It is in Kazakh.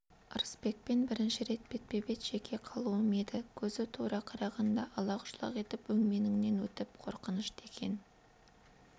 ырысбекпен бірінші рет бетпе-бет жеке қалуым еді көзі тура қарағанда алақ-жұлақ етіп өңменіңнен өтіп қорқынышты екен